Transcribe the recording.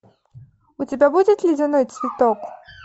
у тебя будет ледяной цветок